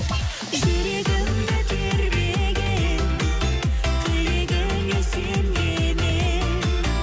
жүрегімді тербеген тілегіңе сенген едім